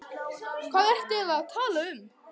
Hvað ertu eiginlega að tala um?